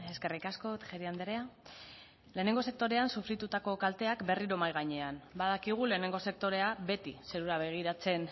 eskerrik asko tejeria andrea lehenengo sektorean sufritutako kalteak berriro mahai gainean badakigu lehenengo sektorea beti zerura begiratzen